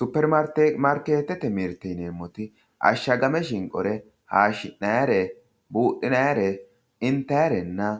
Superimaarketete mirteti yineemmoti ashagame shinqore hayishinayire budhinannire intayirenna